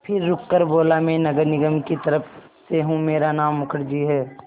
फिर रुककर बोला मैं नगर निगम की तरफ़ से हूँ मेरा नाम मुखर्जी है